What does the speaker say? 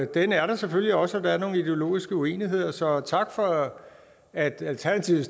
den er der selvfølgelig også og der er nogle ideologiske uenigheder så tak for at alternativet